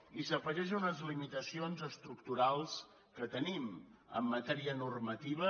i s’afegeix a unes limitacions estructurals que tenim en matèria normativa